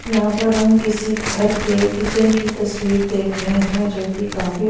यहाँ पर हम किसी घर के किचन की तस्वीर देख रहे हैं जोकि काफी--